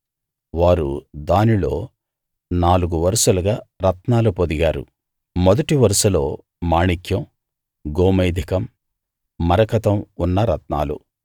వారు దానిలో నాలుగు వరుసలుగా రత్నాలు పొదిగారు మొదటి వరుసలో మాణిక్యం గోమేధికం మరకతం ఉన్న రత్నాలు